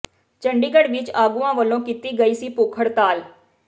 ਚੰਡੀਗੜ੍ਹ ਵਿਚ ਆਗੂਆਂ ਵੱਲੋਂ ਕੀਤੀ ਗਈ ਸੀ ਭੁੱਖ ਹੜਤਾਲ